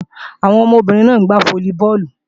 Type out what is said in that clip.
Àwọn ọmọbìnrin náà ń gbá fólíbọọ̀lù